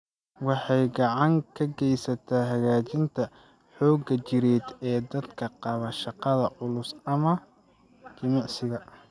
Waxay gacan ka geysataa hagaajinta xoogga jireed ee dadka qaba shaqada culus ama jimicsiga.